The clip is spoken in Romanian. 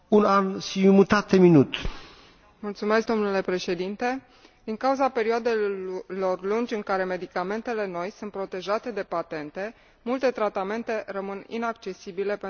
Domnule Președinte, din cauza perioadelor lungi în care medicamentele noi sunt protejate de patente multe tratamente rămân inaccesibile pentru oamenii care au nevoie disperată de ele.